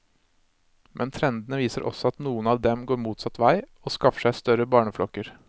Men trendene viser også at noen av dem går motsatt vei, og skaffer seg større barneflokker.